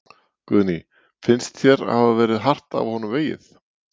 Guðný: Finnst þér hafa verið hart af honum vegið?